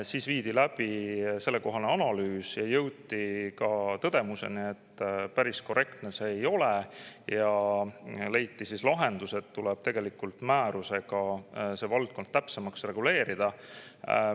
Siis viidi läbi analüüs ja jõuti tõdemusele, et päris korrektne see ei ole, ning leiti lahendus, et tuleb määrusega see valdkond täpsemaks reguleerida.